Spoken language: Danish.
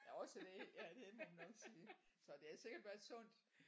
Ja også det ja det må man nok sige så det har sikkert været sundt